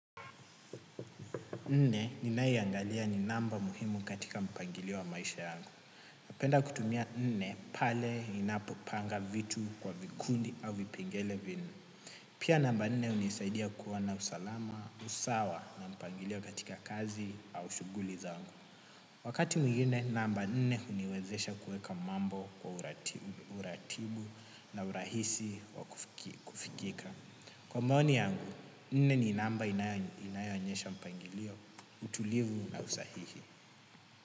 Nne ninaiangalia ni namba muhimu katika mpangilio wa maisha yangu. Napenda kutumia nne pale ninapopanga vitu kwa vikundi au vipengele vinne. Pia namba nne hunisaidia kuona usalama sawa na mpangilio katika kazi au shuguli zangu. Wakati mwingine namba nne hunisaidia kuweka mambo kwa uratibu na urahisi wa kufikika. Kwa maoni yangu, nne ni namba inayoonyesha mpangilio, utulivu na usahihi.